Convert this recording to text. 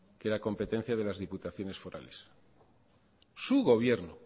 que era competencia de las diputaciones forales su gobierno